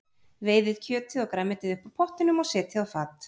Veiðið kjötið og grænmetið upp úr pottinum og setjið á fat.